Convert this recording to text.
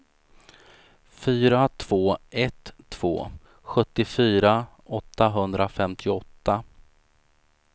fyra två ett två sjuttiofyra åttahundrafemtioåtta